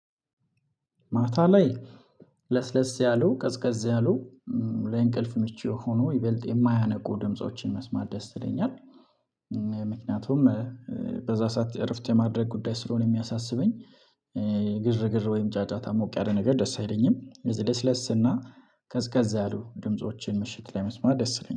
ማታ ላይ ለስለስ ያሉ ቀዝቀዝ ያሉ ለእንቅልፍ ምቹ ሆኖ ይበልጥ የማያነቁ ድምፆችን መስማት ደስ ይለኛል። ምክንያቱም በዛ ሰዓት እረፍት የማድረግ ጉዳይ ስለሆነ የሚያሳስበኝ። ግርግር ወይም ጫጫታ ሞቅ ያለ ነገር ደስ አይለኝም ደስ ደስ ለስ እና ከዝ ቀዝቀዛ አሉ ድምፆችን ምሽት ላይ መስማት ደስ ይለኛል